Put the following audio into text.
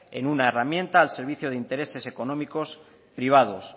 en una herramienta al servicio de intereses económicos privados